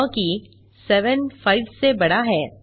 क्योंकि 7 5 से बड़ा है